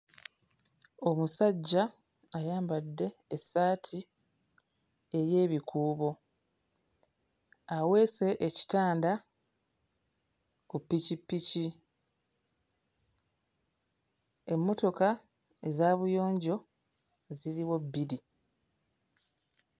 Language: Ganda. Omusajja ayambadde essaati ey'ebikuubo. Aweese ekitanda ku ppikippiki. Emmotoka eza buyonjo ziriwo bbiri.